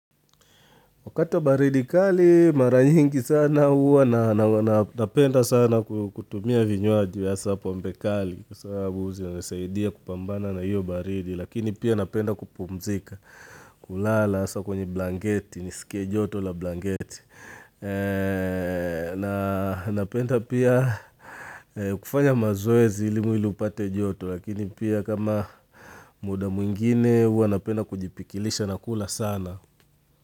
Wakati wa baridi kaliii mara nyingi sana huwa na napenda sana kutumia vinywaji hasa pombe kali kwa sababu zinasaidia kupambana na hiyo baridi. Lakini pia napenda kupumzika, kulala hasa kwenye blangeti, niskie joto la blangeti. Napenda pia kufanya mazoezi ili mwili upate joto lakini pia kama muda mwingine huwa napenda kujipikilisha na kula sana.